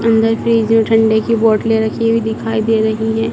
अंदर फ्रिज में ठंडे की बोतलें रखी हुई दिखाई दे रही हैं।